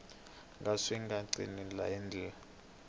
ka swi nga cinciwi handle